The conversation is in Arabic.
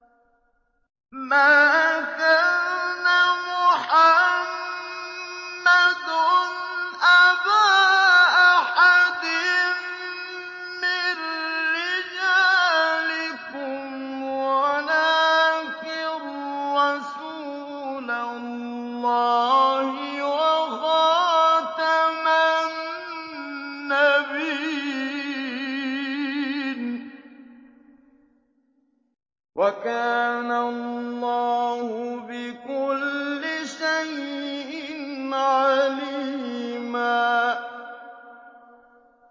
مَّا كَانَ مُحَمَّدٌ أَبَا أَحَدٍ مِّن رِّجَالِكُمْ وَلَٰكِن رَّسُولَ اللَّهِ وَخَاتَمَ النَّبِيِّينَ ۗ وَكَانَ اللَّهُ بِكُلِّ شَيْءٍ عَلِيمًا